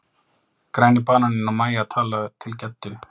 Græni bananinn og Mæja tala til Geddu.